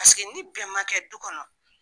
Paseke ni bɛn ma kɛ du kɔnɔ